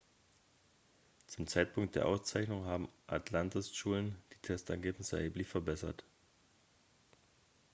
zum zeitpunkt der auszeichnung haben atlantas schulen die testergebnisse erheblich verbessert